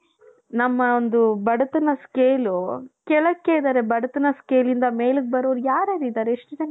ನಮ್ಮ ಒಂದು ಬಡತನ scale ಕೆಳಕ್ಕೆ ಇದ್ದಾರೆ ಬಡತನ scaleಯಿಂದ ಮೇಲೆ ಬರೋರು ಯಾರ ಯಾರ ಇದಾರೆ ಎಷ್ಟು ಜನ ಇದ್ದಾರೆ ಹೇಳು.